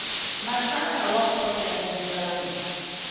matsalana wa khoto ya ndzingano